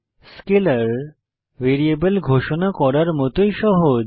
scalar variable ঘোষণা করার মতই সহজ